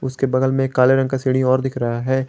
उसके बगल में काले रंग का सीढ़ी और दिख रहा है।